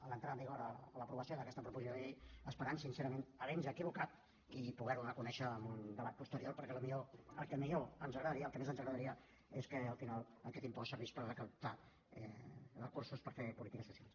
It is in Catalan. a l’entrada en vigor a l’aprovació d’aquesta proposició de llei esperant sincerament haver nos equivocat i poder ho reconèixer en un debat posterior perquè el que millor ens agradaria el que més ens agradaria és que al final aquest impost servís per recaptar recursos per fer polítiques socials